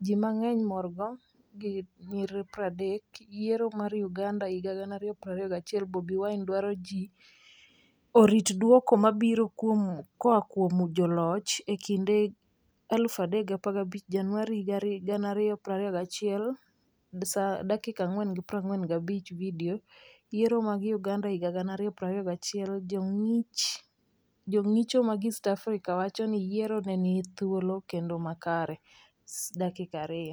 Ji mang'eny morgo 0:30 Vidio, Yiero mag Uganda 2021:Bobi Wine dwaro ni ji orit dwoko ma biro koa kuom joloch,E kinde 0,3015 Januar 2021 4:45 Vidio, Yiero mag Uganda 2021: Jong'icho mag East Africa wacho ni yiero ne ni thuolo kendo makare, 2:00